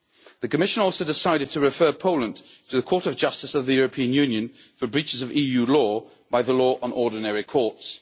The Commission also decided to refer Poland to the Court of Justice of the European Union for breaches of EU law by the Law on Ordinary Courts.